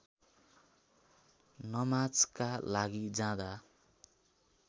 नमाजका लागि जाँदा